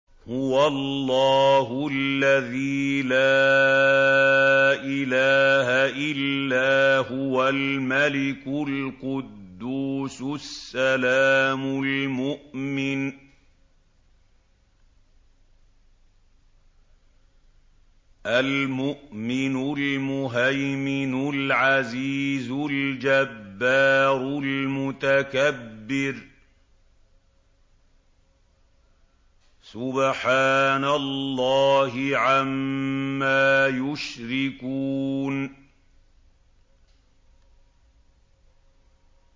هُوَ اللَّهُ الَّذِي لَا إِلَٰهَ إِلَّا هُوَ الْمَلِكُ الْقُدُّوسُ السَّلَامُ الْمُؤْمِنُ الْمُهَيْمِنُ الْعَزِيزُ الْجَبَّارُ الْمُتَكَبِّرُ ۚ سُبْحَانَ اللَّهِ عَمَّا يُشْرِكُونَ